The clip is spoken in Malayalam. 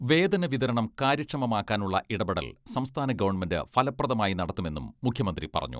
വേതന വിതരണം കാര്യക്ഷമമാക്കാനുള്ള ഇടപെടൽ സംസ്ഥാന ഗവൺമെന്റ് ഫലപ്രദമായി നടത്തുമെന്നും മുഖ്യമന്ത്രി പറഞ്ഞു.